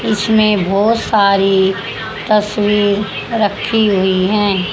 इसमें बहुत सारी तस्वीर रखी हुई है।